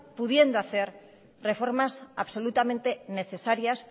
pudiendo hacer reformas absolutamente necesarias